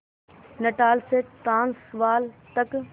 Natal से Transvaal तक